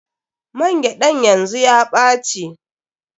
Man gyaɗan yanzu ya ɓace.